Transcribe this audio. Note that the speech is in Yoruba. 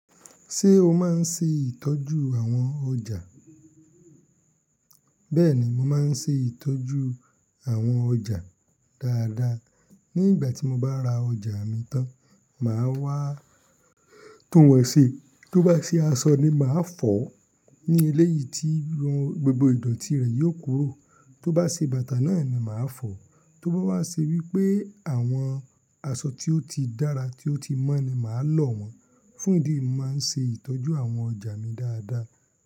Ṣé o máa ń ṣe ìtọ́jú àwọn ọjà? Bẹ́ẹ̀ni, mo máa ń ṣe ìtọ́jú àwọn ọjà dáadáa. Ní ìgbà tí mo bá ra ọjà mi tán, màá wá tún wọ́n ṣe. Tó bá ṣe aṣọ ni, màá fọ̀ ní eléyìí tí gbogbo ìdọ̀tí rẹ̀ yóò kúrò. Tó bá ṣe bàtà náà ni, màá fọ̀. Tó bá wá ṣe wípé àwọn aṣọ tí ó ti dára, tí ó ti mọ́ ni, màá lọ̀ wọ́n. Fún ìdí yìí, mo máa ń ṣe ìtọ́jú àwọn ọjà mi dáadáa.